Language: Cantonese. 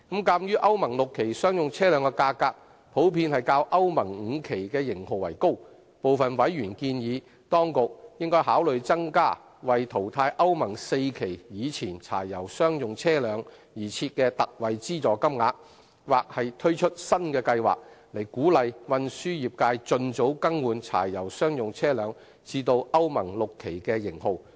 鑒於歐盟 VI 期商用車輛價格，普遍較歐盟 V 期型號為高，部分委員建議，當局應考慮增加為淘汰歐盟 IV 期以前柴油商用車輛而設的特惠資助金額，或推出新的計劃，以鼓勵運輸業界盡早更換柴油商用車輛至歐盟 VI 期型號。